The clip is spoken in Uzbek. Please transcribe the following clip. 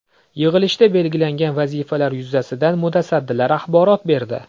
Yig‘ilishda belgilangan vazifalar yuzasidan mutasaddilar axborot berdi.